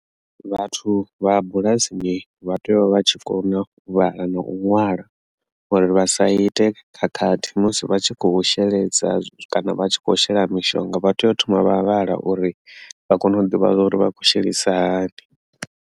Vhathu vha bulasini vha tea u vha tshi kona u vhala na u ṅwala uri vha sa ite khakhathi musi vha tshi kho sheledza kana vha tshi kho shela mishonga vha tea u thoma vha vhala uri vha kone u ḓivha uri vha khou shelisa hani.